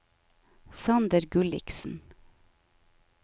Sander Gulliksen